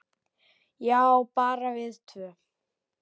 Já, bara við tvö.